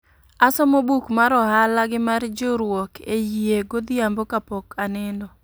Asomo buk mar ohala gi mar jiurwok e yie godhiambo ka pok anindo